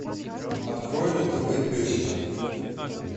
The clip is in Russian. открой на тв песика